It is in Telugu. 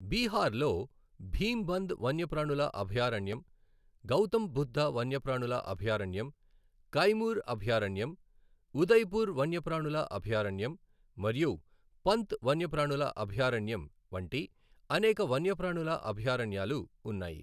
బీహార్లో భీంబంద్ వన్యప్రాణుల అభయారణ్యం, గౌతమ్ బుద్ధ వన్యప్రాణుల అభయారణ్యం, కైమూర్ అభయారణ్యం, ఉదయ్పూర్ వన్యప్రాణుల అభయారణ్యం మరియు పంత్ వన్యప్రాణుల అభయారణ్యం వంటి అనేక వన్యప్రాణుల అభయారణ్యాలు ఉన్నాయి.